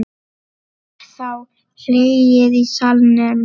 Var þá hlegið í salnum.